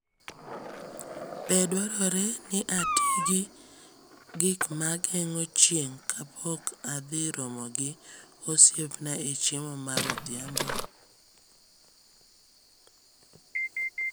Be dwarore ni ati gi gik ma geng’o chieng’ kapok adhi romo gi osiepna e chiemo mar odhiambo?